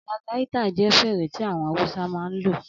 Algaita jẹ́ fèrè tí àwọn Awúsá máa ń lò